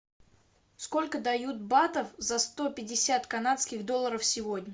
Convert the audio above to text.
сколько дают батов за сто пятьдесят канадских долларов сегодня